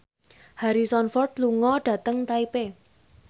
Harrison Ford lunga dhateng Taipei